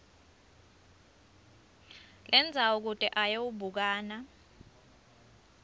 lendzawo kute ayewubukana